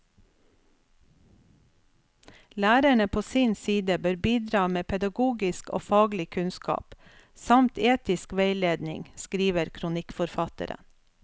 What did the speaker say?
Lærerne på sin side bør bidra med pedagogisk og faglig kunnskap, samt etisk veiledning, skriver kronikkforfatteren.